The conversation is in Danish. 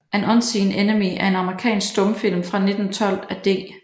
An Unseen Enemy er en amerikansk stumfilm fra 1912 af D